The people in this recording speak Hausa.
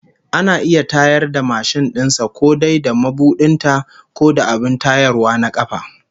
Ana iya tayar da mashin din sa ko dai da mabudin ta, ko da abin tayarwa na kafa